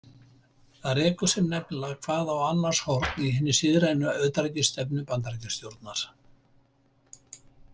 Það rekur sig nefnilega hvað á annars horn í hinni siðrænu utanríkisstefnu Bandaríkjastjórnar.